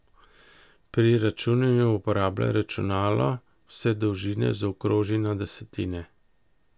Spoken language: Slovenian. Pri računanju uporabljaj računalo, vse dolžine zaokroži na desetine.